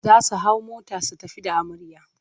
Za su hau mota su tafi da amarya.